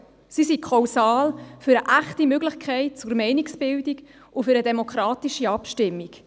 Sie sind kausal für eine echte Möglichkeit zur Meinungsbildung und für eine demokratische Abstimmung.